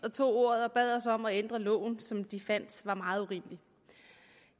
og tog ordet og bad os om at ændre loven som de fandt meget urimelig